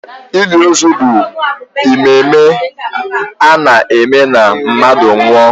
Ili ozu bụ emume a na-eme na mmadụ nwụọ.